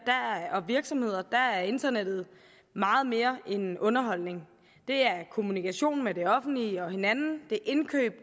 og virksomheder er internettet meget mere end underholdning det er kommunikation med det offentlige og hinanden det er indkøb